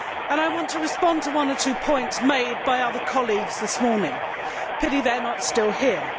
I want to respond to one or two points made by other colleagues this morning it is a pity they are not still here.